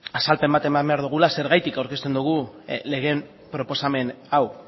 azalpen bat eman behar dugula zergatik aurkezten dugun lege proposamen hau